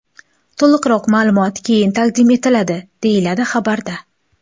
To‘liqroq ma’lumot keyin taqdim etiladi”, deyiladi xabarda.